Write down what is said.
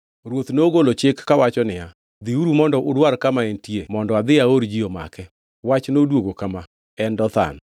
Ruoth nogolo chik kawacho niya, “Dhiuru mondo udwar kama entie mondo adhi aor ji omake.” Wach noduogo kama: “En Dothan.”